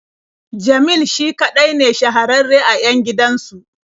Jamil shi kaɗai ne shahararre a 'yan gidansu.